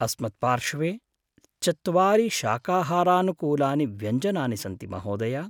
अस्मत्पार्श्वे चत्वारि शाकाहारानुकूलानि व्यञ्जनानि सन्ति महोदय!